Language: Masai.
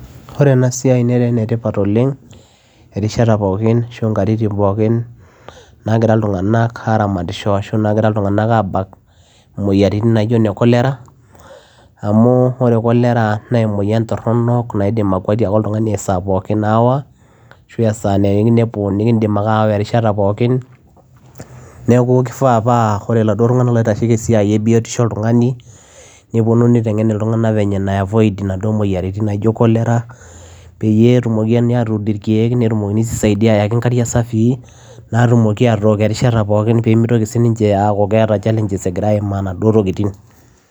Ore ena siai neetaa ene tipat oleng erishata pookin naagira ilntunganak aabakishoo imoyiaritin naijo cholera amuu emoyian toronok naidim aawaa olntunganii esaa pookin neeku kifaa paa oree iladuo tunganak loitashekii esiai ee biotishoo oltunganii niteng ilntunganak venye nai avoid inaduo moyiaritin peyiee etumokini ayaakii irkiek netumokiini aayakii inkariak safii netumookii aatok erishata pookin